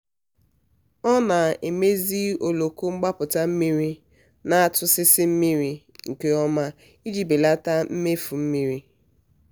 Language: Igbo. ọ na-emezi oloko mgbapụta mmiri na-atụsịsị mmiri nke ọma iji belata mmefu mmiri.